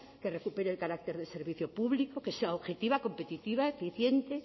que recupere el carácter de servicio público que sea objetiva competitiva eficiente